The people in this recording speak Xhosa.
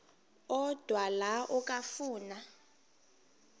odwa la okafuna